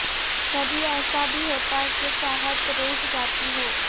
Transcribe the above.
کبھی ایسا بھی ہوتا ہے کہ چاہت روٹھ جاتی ہو